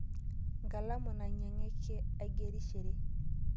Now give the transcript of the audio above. Nkalamu nanyieke aigerishere